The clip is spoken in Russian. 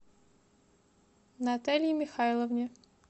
наталье михайловне